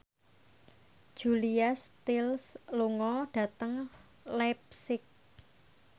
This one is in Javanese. Julia Stiles lunga dhateng leipzig